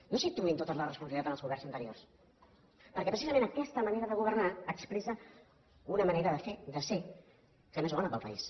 no situïn tota la responsabilitat en els governs anteriors perquè precisament aquesta manera de governar expressa una manera de fer de ser que no és bona per al país